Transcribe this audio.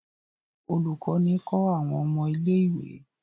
Ólukọni kọ àwọn ọmọ ìlé-ìwé.